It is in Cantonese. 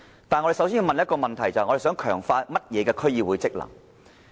就此，我們要先問一個問題，就是要強化甚麼的區議會職能。